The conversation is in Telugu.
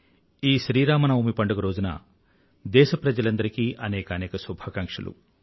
ఈ శ్రీరామనవమి పండుగ రోజున దేశప్రజలందరికీ అనేకానేక శుభాకాంక్షలు